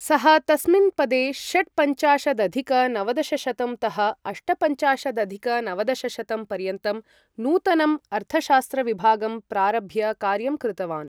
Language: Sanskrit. सः तस्मिन् पदे षट्पञ्चाशदधिक नवदशशतं तः अष्टपञ्चाशदधिक नवदशशतं पर्यन्तं नूतनम् अर्थशास्त्रविभागं प्रारभ्य कार्यं कृतवान्।